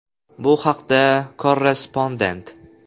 Bu haqda “Korrespondent.